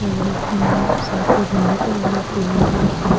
और साइड पे गमले पड़े हुए हैं फूलों के और साइड --